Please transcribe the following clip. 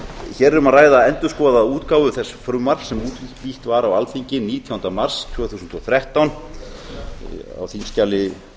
hér er um að ræða endurskoðaða útgáfu þess frumvarps sem útbýtt var á alþingi nítjánda mars tvö þúsund og þrettán á þingskjali